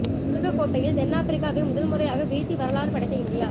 உலக கோப்பையில் தென்ஆப்பிரிக்காவை முதல்முறையாக வீழ்த்தி வரலாறு படைத்த இந்தியா